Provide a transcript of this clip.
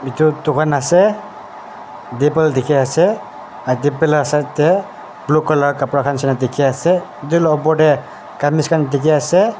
etu dukan ase table dekhi ase side tae blue colour kapra khan neshina dekhi ase etu laga opor tae gamiz khan dheki ase.